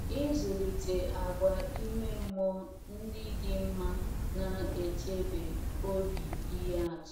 Ịzụlite àgwà ime mmụọ ndị dị mma na - echebe obi ihe atụ